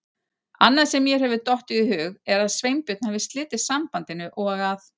Annað sem mér hefur dottið í hug er að Sveinbjörn hafi slitið sambandinu og að